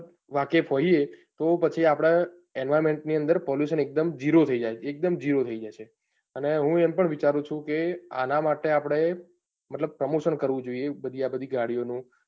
વાકેફ હોઈએ તો પછી આપડે environment ની અંદર pollution એકદમ જીરો થઇ જશે. અને હું એમ પણ વિચરૂંછું કે આના માટે આપડે મતલબ promotion કરવું જોઈએ.